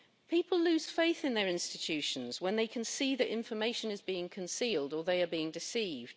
People lose faith in their institutions when they can see that information is being concealed, or that they are being deceived.